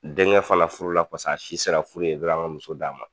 Denŋɛ fana furula pas'a si sera furu ye muso d'a ma